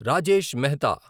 Rajesh Mehta